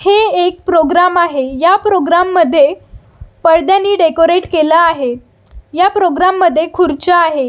हे एक प्रोग्राम आहे ह्या प्रोग्राम मध्ये पडद्यानि डेकोरेट केला आहे ह्या प्रोग्राम मध्ये खुर्च्या आहे.